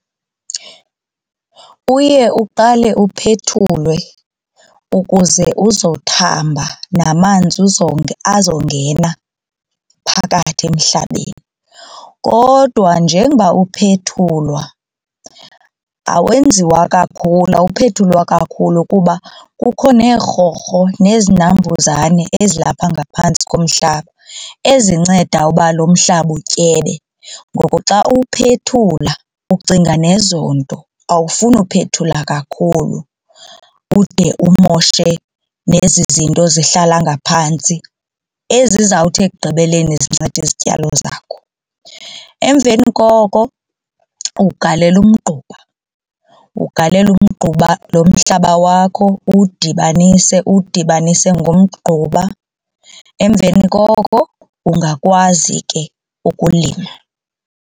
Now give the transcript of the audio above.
Uye uqale uphethulwe ukuze uzothamba namanzi azongena phakathi emhlabeni. Kodwa njengoba uphethulwa awenziwa kakhulu, awuphethulwa kakhulu, kuba kukho neerhorho nezinambuzane ezilapha ngaphantsi komhlaba ezinceda uba lo mhlaba utyebe. Ngoku xa uwuphethula ucinga nezo nto awufuni kuphethula kakhulu ude umoshe nezi zinto zihlala ngaphantsi ezizawuthi ekugqibeleni zincede izityalo zakho. Emveni koko ugalela umgquba ugalele umgquba lo mhlaba wakho uwudibanise uwudibanise ngomgquba emveni koko ungakwazi ke ukulima.